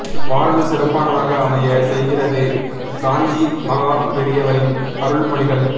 வாழ்வு சிறப்பானதாக அமைய செய்கிறது காஞ்சி மகா பெரியவரின் அருள்மொழிகள்